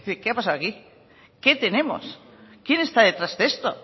qué ha pasado aquí qué tenemos quién está detrás de esto